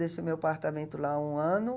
Deixei meu apartamento lá um ano.